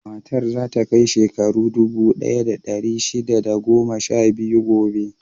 Matar za ta kai shekaru dubu ɗaya da ɗari shida da goma sha biyu gobe.